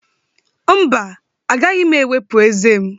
Mba, agaghị m ewepụ ezé m